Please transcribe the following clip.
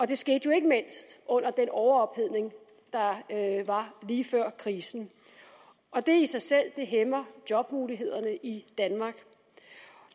det skete jo ikke mindst under den overophedning der var lige før krisen og det i sig selv hæmmer jobmulighederne i danmark